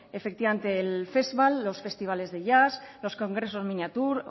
efectivamente el festval los festivales de jazz los congresos miniature